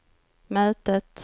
mötet